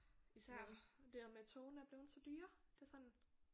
Især det her med togene er blevet så dyre det er sådan